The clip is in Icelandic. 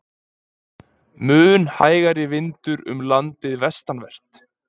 Mun hægari vindur umlandið vestanvert